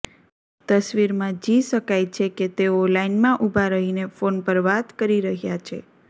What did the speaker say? તસવીરમાં જિ શકાય છે કે તેઓ લાઇનમાં ઉભા રહીને ફોન પર વાત કરી રહ્યાં છે